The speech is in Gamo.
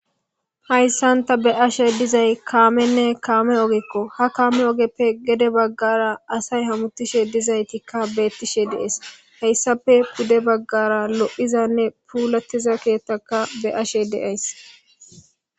Hayssanta be ashe dizay kaamenne kaame ogekko ha kaame ogeppe gede baggara asay hamutishe dizaytikka beettishe dees hayssape pude baggara lo'izanne puulattiza keethtaka be ashe deays.